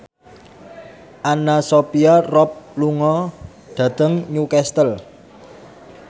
Anna Sophia Robb lunga dhateng Newcastle